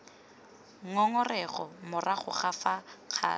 ngongorego morago ga fa kgato